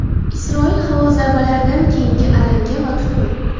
Isroil havo zarbalaridan keyingi alanga va tutun.